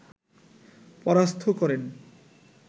পরাস্থ করেন